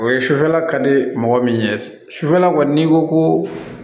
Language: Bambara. O ye sufɛla ka di mɔgɔ min ye sufɛla kɔni n'i ko ko